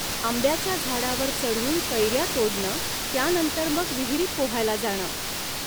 आंब्याच्या झाडावर चढून कैऱ्या तोडणं त्यानंतर मग विहिरीत पोहायला जाणं